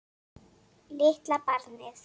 Litla barnið.